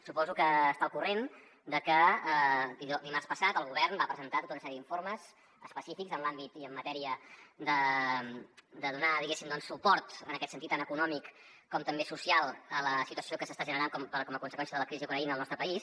suposo que està al corrent de que dimarts passat el govern va presentar tota una sèrie d’informes específics en l’àmbit i en matèria de donar diguéssim doncs suport en aquest sentit tant econòmic com també social a la situació que s’està generant com a conseqüència de la crisi a ucraïna al nostre país